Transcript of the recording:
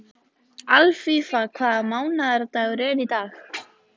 Alfífa, hvaða mánaðardagur er í dag?